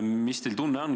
Mis tunne teil on?